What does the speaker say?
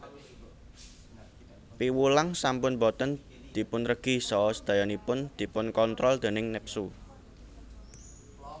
Piwulang sampun boten dipunregi saha sedayanipun dipunkontrol déning nepsu